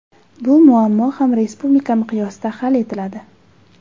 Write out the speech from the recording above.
Bu muammo ham respublika miqyosida hal etiladi.